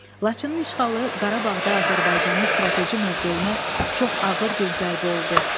Laçının işğalı Qarabağda Azərbaycanın strateji mövqeyinə çox ağır bir zərbə oldu.